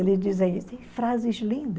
Eles dizem frases lindas.